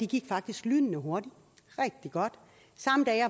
gik faktisk lynende hurtigt rigtig godt